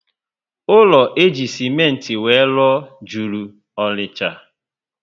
Ụlọ eji simenti were rụọ juru Ọnịcha